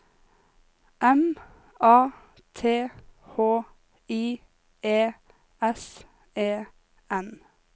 M A T H I E S E N